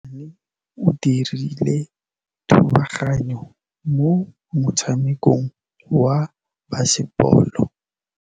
Mosimane o dirile thubaganyô mo motshamekong wa basebôlô.